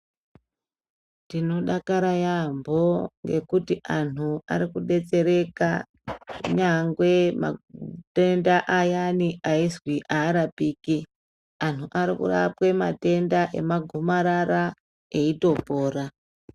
Tinodakara yambo, ngekuti anhu arikudetsereka, nyangwe matenda ayani ayizvi arapiki. Anu arikurapwe matenda emagomarara, eyitopora.